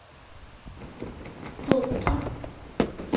топки